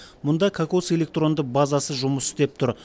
мұнда кокос электронды базасы жұмыс істеп тұр